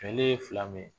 Kɛlɛ ye fila min ye